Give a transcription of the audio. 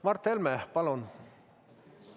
Mart Helme, palun!